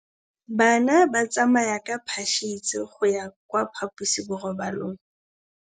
Bana ba tsamaya ka phašitshe go ya kwa phaposiborobalong.